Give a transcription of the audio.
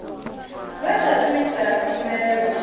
vha saathu u ita khumbelo